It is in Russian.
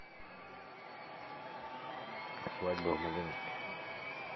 свадьба в малиновке